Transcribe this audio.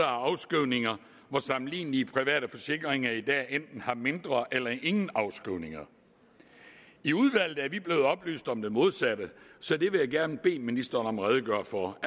afskrivninger hvor sammenlignelige private forsikringer i dag enten har mindre eller ingen afskrivninger i udvalget er vi blevet oplyst om det modsatte så det vil jeg gerne bede ministeren om at redegøre for